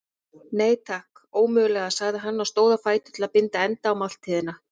Nei, takk, ómögulega sagði hann og stóð á fætur til að binda enda á máltíðina.